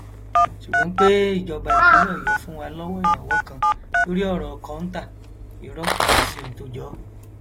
ṣùgbọn pé ìjọba ìpínlẹ ọyọ fún wa lọwọ ìrànwọ kan lórí ọrọ kọńtà irọ kò sí ohun tó jọ ọ